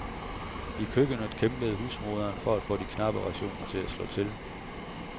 I køkkenet kæmpede husmoderen for at få de knappe rationer til at slå til.